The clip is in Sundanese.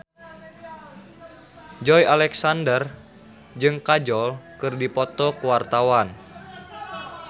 Joey Alexander jeung Kajol keur dipoto ku wartawan